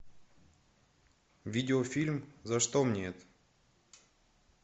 видеофильм за что мне это